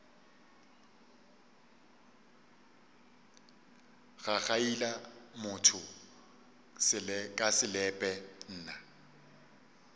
gagaila motho ka selepe nna